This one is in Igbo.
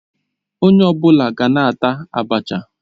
Onye ọ bụla gaa na-ata Abacha